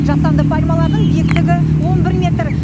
жасанды пальмалардың биіктігі он бір метр